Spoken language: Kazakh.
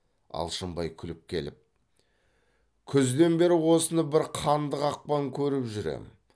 алшынбай күліп келіп күзден бері осыны бір қанды қақпан көріп жүр ем